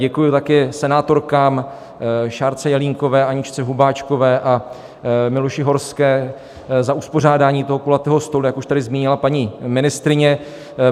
Děkuji také senátorkám Šárce Jelínkové, Aničce Hubáčkové a Miluši Horské za uspořádání toho kulatého stolu, jak už tady zmínila paní ministryně.